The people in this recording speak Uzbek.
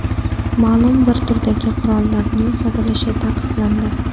Ma’lum bir turdagi qurollarning sotilishi taqiqlandi.